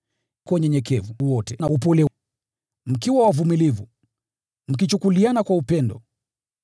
Kwa unyenyekevu wote na upole, mkiwa wavumilivu, mkichukuliana kwa upendo.